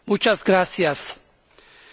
Kedves Képviselőtársaim!